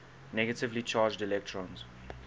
negatively charged electrons